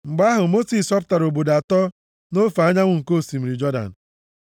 Mgbe ahụ, Mosis họpụtara obodo atọ nʼofe ọwụwa anyanwụ nke osimiri Jọdan,